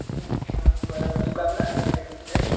अच्छा बरोबर तू करणार आहेस ऍप्टिट्यूड टेस्ट?